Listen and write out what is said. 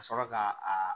Ka sɔrɔ ka a